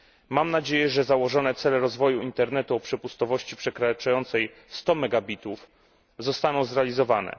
Mam nadzieję, że założone cele rozwoju internetu o przepustowości przekraczającej 100 megabitów zostaną zrealizowane.